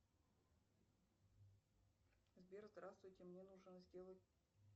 сбер здравствуйте мне нужно сделать